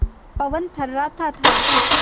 पवन थर्राता था